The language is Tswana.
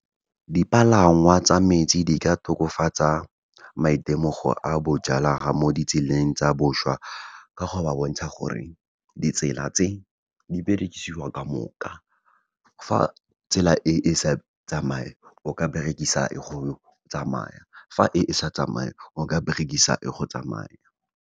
Dipalangwa tsa metsi di ka tokofatsa maitemogo a mo ditseleng tsa boswa ka go ba bontsha gore ditsela tse di berekisiwa ka moka. Fa tsela e, e sa tsamaye, o ka berekisa e go tsamaya, fa e, e sa tsamaye, o ka berekisa e go tsamaya.